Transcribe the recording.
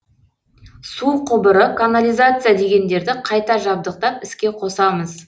су құбыры канализация дегендерді қайта жабдықтап іске қосамыз